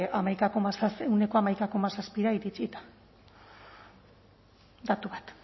ehuneko hamaika koma zazpira iritsita datu bat